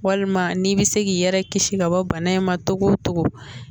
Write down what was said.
Walima n'i bɛ se k'i yɛrɛ kisi ka bɔ bana in ma togo togo